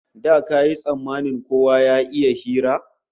Da kayi tsammanin kowa ne ya iya hira?